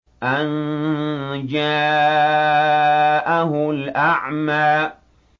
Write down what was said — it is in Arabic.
أَن جَاءَهُ الْأَعْمَىٰ